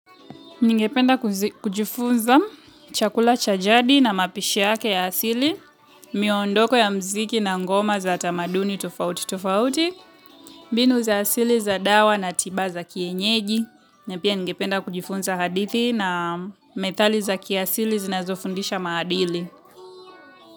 Ningependa kujifunza chakula cha jadi na mapishi yake ya asili, miondoko ya muziki na ngoma za tamaduni tofauti tofauti, mbinu za asili za dawa na tiba za kienyeji, na pia ningependa kujifunza hadithi na methali za kiasili zinazofundisha maadili.